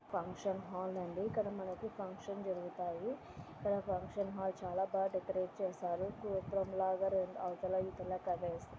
function hall అండి ఇక్కడ మనకు ఫంక్షన్ జరుగుతాయి ఇక్కడ ఫంక్షన్ హాల్ చాలా బా డెకరేట్ చేసారు గోపురంలాగా రెండు అవతల ఇవతల క--